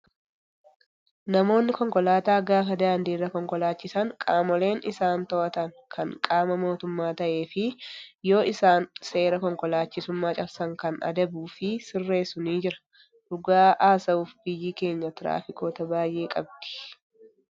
Namoonni konkolaataa gaafa daandiirra konkolaachisan qaamoleen isaan to'atan kan qaama mootummaa ta'ee fi yoo isaan seera konkolaachisummaa cabsan kan adabuu fi sirreessu ni jira. Dhugaa haasa'uuf biyyii keenyaa tiraafikoota baayye qabdii.